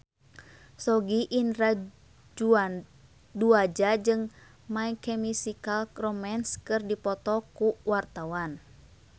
Sogi Indra Duaja jeung My Chemical Romance keur dipoto ku wartawan